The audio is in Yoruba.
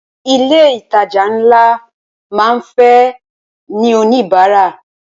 Ilé ìtajà ńlá máa ń fẹ́ ní oníbárà.